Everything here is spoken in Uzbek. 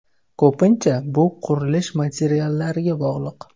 Ko‘pincha, bu qurilish materiallariga bog‘liq.